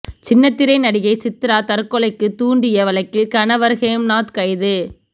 சின்னத்திரை நடிகை சித்ரா தற்கொலைக்கு தூண்டிய வழக்கில் கணவர் ஹேம்நாத் கைது